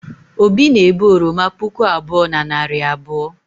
obi na-ebu oroma puku abụọ na narị abụọ